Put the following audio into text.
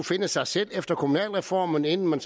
finde sig selv efter kommunalreformen inden man